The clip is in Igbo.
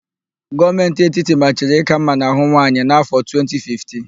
Gọọmentị etiti machiri íkà mma n'ahụ nwaanyị n'áfọ̀, 2015.